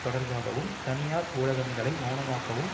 தொடர்பாகவும் தனியார் ஊடகங்களை மெளனமாக்கவும்